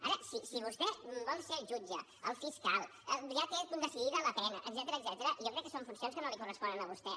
ara si vostè vol ser el jutge el fiscal ja té decidida la pena etcètera jo crec que són funcions que no li corresponen a vostè